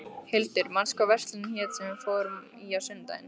Hildur, manstu hvað verslunin hét sem við fórum í á sunnudaginn?